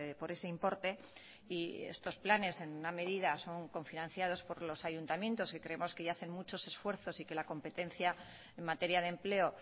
por ese importe y estos planes en alguna medida son cofinanciados por los ayuntamientos que creemos que ya hacen muchos esfuerzos y que la competencia en materia de empleo